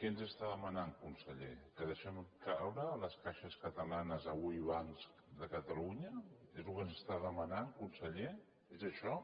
què ens demana conseller que deixem caure les caixes catalanes avui bancs de catalunya és el que ens demana conseller és això